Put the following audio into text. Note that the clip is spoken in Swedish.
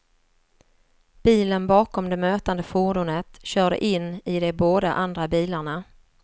Bilen bakom det mötande fordonet körde in i de båda andra bilarna.